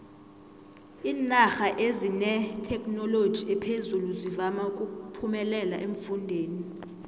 iinarha ezinethekhinoloji ephezulu zivama uphemelela eemfundeni